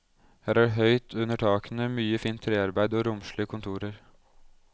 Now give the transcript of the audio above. Her er det høyt under takene, mye fint trearbeid og romslige kontorer.